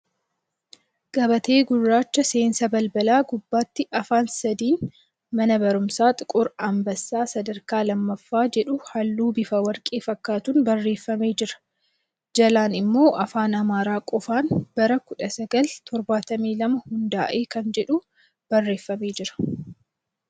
Gabatee gurraacha seensa balbalaa gubbaatti afaan sadiin ' Mana Barumsaa Xiquur Anbassaa Sadarkaa Lammaffaa' jedhu halluu bifa warqee fakkaatuun barreeffamee jira. Jalaan immoo Afaan Amaaraa qofaan bara 1972 hundaa'e kan jedhu barreeffamee jira.